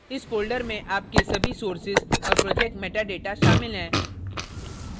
इस folder में आपके सभी sources और project metadata शामिल हैं